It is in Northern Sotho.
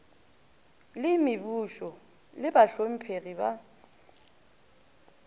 le mebušo le bahlomphegi ba